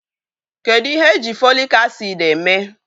Kedụ ihe èjí Fòlị́k acị́d èmé?